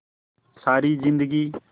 सारी जिंदगी